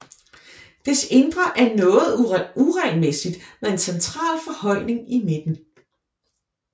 Dets indre er noget uregelmæssigt med en central forhøjning i midten